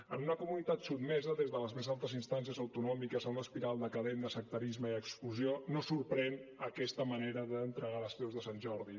en una comunitat sotmesa des de les més altes instàncies autonòmiques a una espiral decadent de sectarisme i exclusió no sorprèn aquesta manera d’entregar les creus de sant jordi